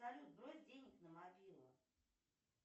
салют брось денег на мобилу